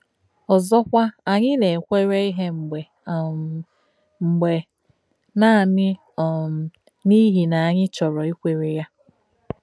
Ọ́zọ̀kwà, ànyì nà-èkwérē íhe mgbé um mgbé nànì um n’íhi nà ànyì chọ̀rọ̀ ìkwérē yà.